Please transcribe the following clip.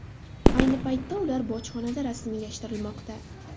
Ayni paytda ular bojxonada rasmiylashtirilmoqda.